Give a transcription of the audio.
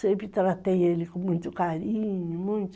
Sempre tratei ele com muito carinho, muito.